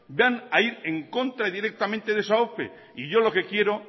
van a ir en contra directamente de esa ope y yo lo que quiero